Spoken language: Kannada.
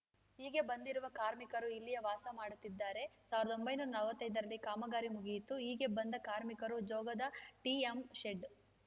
ಹೀಗೆ ಬಂದಿರುವ ಕಾರ್ಮಿಕರು ಇಲ್ಲಿಯೆ ವಾಸ ಮಾಡುತ್ತಿದ್ದಾರೆ ಸಾವಿರದ ಒಂಬೈನೂರ ನಲವತ್ತೈದ ರಲ್ಲಿ ಕಾಮಗಾರಿ ಮುಗಿಯಿತು ಹೀಗೆ ಬಂದ ಕಾರ್ಮಿಕರು ಜೋಗದ ಟಿಎಂಶೆಡ್‌